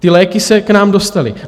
Ty léky se k nám dostaly.